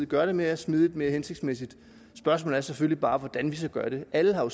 gøre det mere smidigt og mere hensigtsmæssigt spørgsmålet er selvfølgelig bare hvordan vi så gør det alle har jo